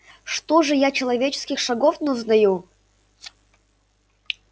что же я человеческих шагов не узнаю